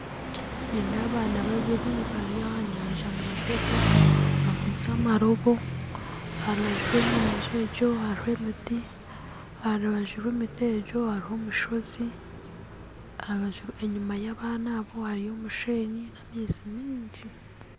Nindeeba abaana babiri bari aha nyanja nibatega bakwistye amaroobo aharubaju rw'enyanja egyo hariho emiti aharubaju rw'emiti egyo hariho omushoozi enyima y'abaana abo hariyo omusheenyi n'amaizi maingi